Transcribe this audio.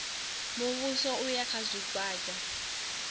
muvhuso u ya kha zwigwada